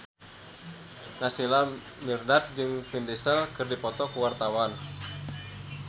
Naysila Mirdad jeung Vin Diesel keur dipoto ku wartawan